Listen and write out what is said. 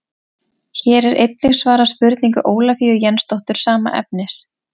Hér er einnig svarað spurningu Ólafíu Jensdóttur sama efnis.